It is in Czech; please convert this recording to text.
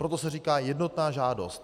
Proto se říká jednotná žádost.